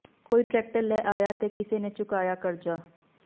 ਕੋਈ ਟਰੈਕਟਰ ਲੈ ਆਇਆ ਤੇ ਕਿਸੇ ਨੇ ਚੁਕਾਇਆ ਕਰਜ਼ਾ